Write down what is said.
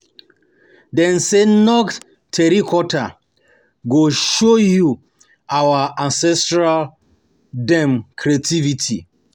Dem sey Nok Terracotta go show you our ancestor dem creativity.